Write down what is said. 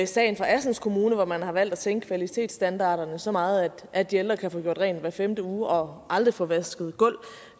sagen fra assens kommune hvor man har valgt at sænke kvalitetsstandarderne så meget at de ældre kan få gjort rent hver femte uge og aldrig få vasket gulv